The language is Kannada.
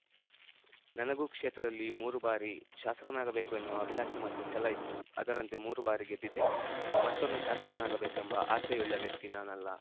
ನನಗೂ ಕ್ಷೇತ್ರದಲ್ಲಿ ಮೂರು ಬಾರಿ ಶಾಸಕನಾಗಬೇಕು ಎನ್ನುವ ಅಭಿಲಾಷೆ ಮತ್ತು ಛಲ ಇತ್ತು ಅದರಂತೆ ಮೂರು ಬಾರಿ ಗೆದ್ದಿದ್ದೇನೆ ಮತ್ತೊಮ್ಮೆ ಶಾಸಕನಾಗಬೇಕೆಂಬ ಆಸೆಯುಳ್ಳ ವ್ಯಕ್ತಿ ನಾನಲ್ಲ